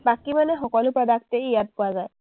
বাকী মানে সকলো product য়েই ইয়াত পোৱা যায়।